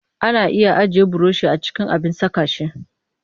Ana iya ajiye burushi a cikin abin saka shi